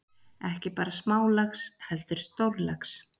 Ekki bara smálax heldur stórlax.